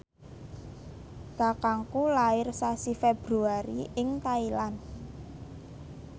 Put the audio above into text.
kakangku lair sasi Februari ing Thailand